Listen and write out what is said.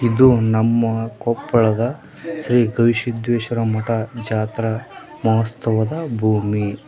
ಇದು ನಮ್ಮ ಕೊಪ್ಪಳದ ಶ್ರೀ ಗವಿಸಿದ್ದೆಶ್ವರ ಮಟ ಜಾತ್ರ ಮಹೋತ್ಸವದ ಭೂಮಿ.